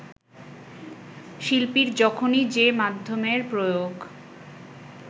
শিল্পীর যখনই যে মাধ্যমের প্রয়োগ